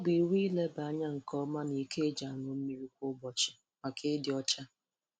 ọ bụ iwu ileba anya nke ọma n'iko eji aṅụ mmiri kwa ubọchi maka ịdị ọcha